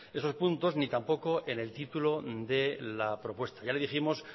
esos puntos ni tampoco en el título de la propuesta ya le dijimos